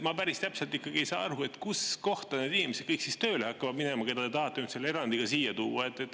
Ma päris täpselt ei saa aru, kus kohta kõik need inimesed, keda te tahate selle erandiga siia tuua, tööle lähevad.